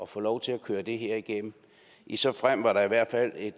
få lov til at køre det her igennem i så fald var der i hvert fald et